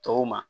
Tɔw ma